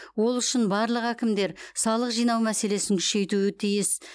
ол үшін барлық әкімдер салық жинау мәселесін күшейтуі тиіс